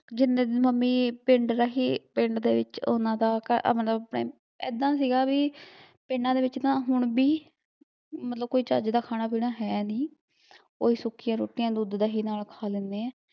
ਜਿਨੇ ਦਿਨ ਮੰਮੀ ਪਿੰਡ ਰਹੀ, ਪਿੰਡ ਦੇ ਵਿੱਚ ਉਹਨਾਂ ਦਾ ਮਤਲਬ ਏਦਾਂ, ਸੀਗਾ ਵੀ ਪਿੰਡਾਂ ਦੇ ਵਿੱਚ ਤਾਂ ਹੁਣ ਵੀ ਮਤਲਬ ਕੋਈ ਚੱਜ ਦਾ ਖਾਣਾ ਪੀਣਾ ਹੈ ਨੀ ਓਹੀ ਸੁੱਕੀਂਆ ਰੋਟੀਆਂ ਦੁੱਧ ਦਹੀਂ ਖਾ ਲੈਂਦੇ ਐ